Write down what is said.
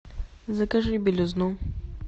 закажи белизну